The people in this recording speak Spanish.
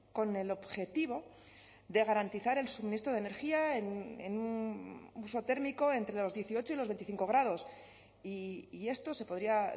con el objetivo de garantizar el suministro de energía en un uso térmico entre los dieciocho y los veinticinco grados y esto se podría